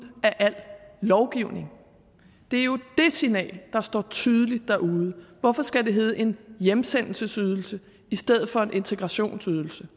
af al lovgivningen det er jo det signal der står tydeligt derude hvorfor skal det hedde en hjemsendelsesydelse i stedet for en integrationsydelse